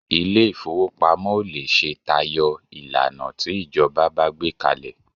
Ilé ìfowópamọ́ ò lè ṣe tayọ ìlànà tí ìjọba bá gbé kalẹ̀